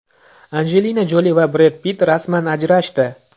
Anjelina Joli va Bred Pitt rasman ajrashdi.